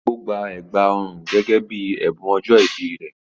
Ó gbà ègbà ọrùn gẹ́gẹ́ bí ẹ̀bùn ọjọ́ ìbí rẹ̀.